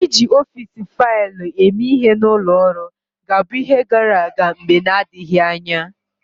Iji ọfịs faịlụ eme ihe na ụlọ ọrụ ga-abụ ihe gara aga mgbe na-adịghị anya.